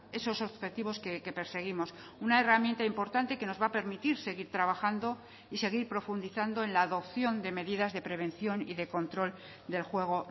esos objetivos que perseguimos una herramienta importante que nos va a permitir seguir trabajando y seguir profundizando en la adopción de medidas de prevención y de control del juego